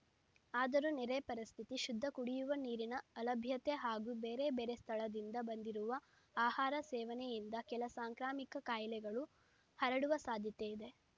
ಆದರೂ ನೆರೆ ಪರಿಸ್ಥಿತಿ ಶುದ್ಧ ಕುಡಿಯುವ ನೀರಿನ ಅಲಭ್ಯತೆ ಹಾಗೂ ಬೇರೆಬೇರೆ ಸ್ಥಳದಿಂದ ಬಂದಿರುವ ಆಹಾರ ಸೇವನೆಯಿಂದ ಕೆಲ ಸಾಂಕ್ರಾಮಿಕ ಕಾಯಿಲೆಗಳು ಹರಡುವ ಸಾಧ್ಯತೆ ಇದೆ